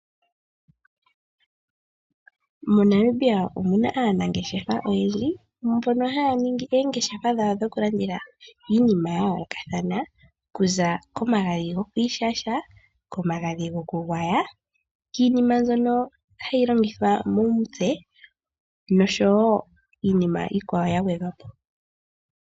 MoNamibia omuna aanangeshefa oyendji mbono haya ningi oongeshefa dhawo dhoku landitha iinima ya yoolokathana okuza komagadhi goku ishasha , omagadhi goku gwaya, iiniima mbyono hayi longithwa momitse nosho wo iinima iikwawo ya gwedhwa po.